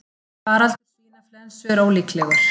Faraldur svínaflensu ólíklegur